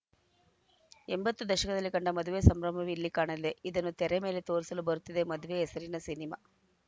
ಎಂಬತ್ತು ದಶಕದಲ್ಲಿ ಕಂಡ ಮದುವೆ ಸಂಭ್ರಮವೇ ಇಲ್ಲಿ ಕಾಣಲೆ ಇದನ್ನು ತೆರೆ ಮೇಲೆ ತೋರಿಸಲು ಬರುತ್ತಿದೆ ಮದ್ವೆ ಹೆಸರಿನ ಸಿನಿಮಾ